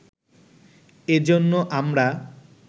এজন্য আমরা